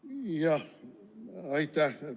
Jah, aitäh!